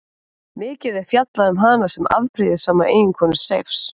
Mikið er fjallað um hana sem afbrýðissama eiginkonu Seifs.